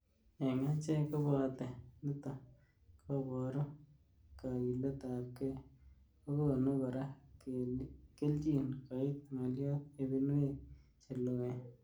Eng achek kobate nitok koboru kakilet ab gei ,kokonu kora keljin koit nga'lyot ibinwek cheloen.